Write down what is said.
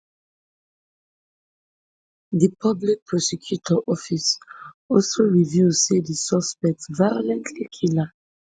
di public prosecutor office also reveal say di suspect violently kill her